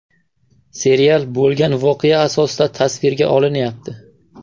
Serial bo‘lgan voqea asosida tasvirga olinayapti.